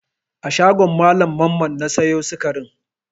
A shagon Mallam Mamman na sayo sikarin?